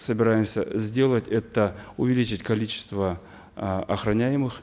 собираемся э сделать это увеличить количество э охраняемых